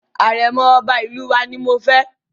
Àrẹ̀mọ̀ Ọba ìlú wa ni mo fẹ́.